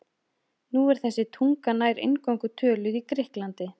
Nú er þessi tunga nær eingöngu töluð í Grikklandi.